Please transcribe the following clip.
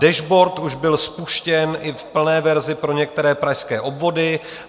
Dashboard už byl spuštěn i v plné verzi pro některé pražské obvody.